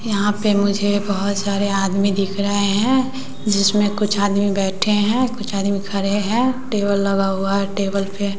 यहां पे मुझे बहोत सारे आदमी दिख रहे हैं जिसमें कुछ आदमी बैठे हैं कुछ आदमी खरे हैं टेबल लगा हुआ हैं टेबल पे--